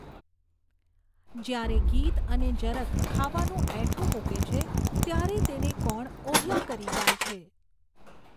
જ્યારે ગીધ અને જરખ ખાવાનું એઠું મૂકે છે, ત્યારે તેને કોણ ઓહિયા કરી જાય છે?